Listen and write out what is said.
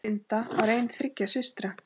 Linda var ein þriggja systra.